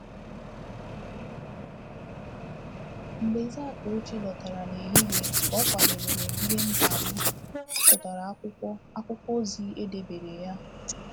Mgbe ZaTochi lọtara n’ehihie ka ọ kwadebeere m ihe m ga-aṅụ, o chọtara akwụkwọ akwụkwọ ozi e debere ya.